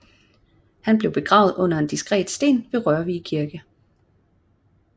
Han blev begravet under en diskret sten ved Rørvig Kirke